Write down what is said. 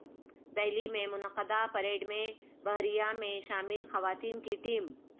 دہلی میں منعقدہ پریڈ میں بحریہ میں شامل خواتین کی ٹیم